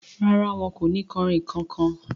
Rárá, wọn kò ni kanrínnkan kan.